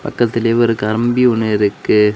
பக்கத்துலியே ஒரு கம்பி ஒன்னு இருக்கு.